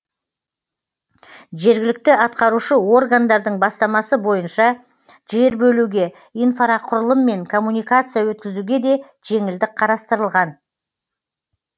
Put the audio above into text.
жергілікті атқарушы органдардың бастамасы бойынша жер бөлуге инфрақұрылым мен коммуникация өткізуге де жеңілдік қарастырылған